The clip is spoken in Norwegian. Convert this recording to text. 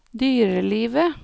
dyrelivet